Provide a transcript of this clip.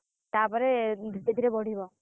ତା ପରେ ଧୀରେ ଧୀରେ ବଢିବ।